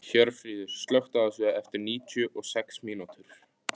Hjörfríður, slökktu á þessu eftir níutíu og sex mínútur.